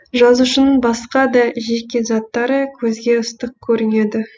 жазушының басқа да жеке заттары көзге ыстық көрінеді